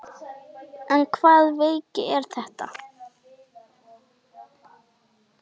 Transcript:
En hvaða veiki er þetta?